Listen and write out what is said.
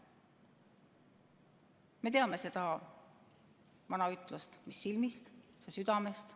Me teame seda vana ütlust "mis silmist, see südamest".